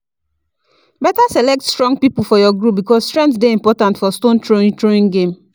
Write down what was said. better select strong people for your group, cause strength dey important for stone throwing throwing game